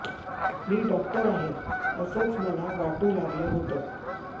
मी doctor आहे असचं मला वाटू लागलं होतं